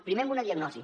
primer amb una diagnosi